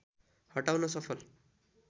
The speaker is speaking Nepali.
हटाउन सफल